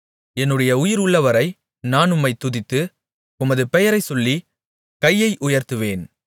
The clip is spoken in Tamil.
என்னுடைய உயிர் உள்ளவரை நான் உம்மைத் துதித்து உமது பெயரை சொல்லிக் கையை உயர்த்துவேன்